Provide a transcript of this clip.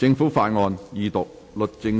政府法案：二讀。